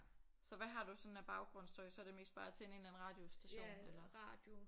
Så hvad har du sådan af baggrundsstøj så det mest bare tænde en eller anden radiostation eller